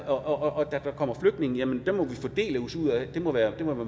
og der kommer flygtninge jamen dem må vi fordele os ud af det må være